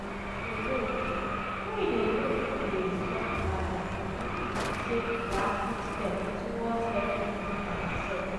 alone praying alone praying alone no dey solve matter we need to take proactive step towards helping ourself